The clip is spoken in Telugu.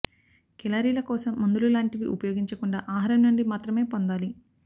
కేలరీల కోసం మందులు లాంటివి ఉపయోగించకుండా ఆహారం నుండి మాత్రమే పొందాలి